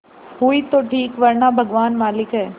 हुई तो ठीक वरना भगवान मालिक है